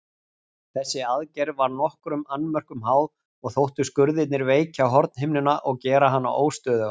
Þessi aðgerð var nokkrum annmörkum háð og þóttu skurðirnir veikja hornhimnuna og gera hana óstöðuga.